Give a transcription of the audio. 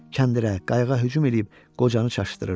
Kəndirə, qayığa hücum eləyib qocanı çaşdırırdı.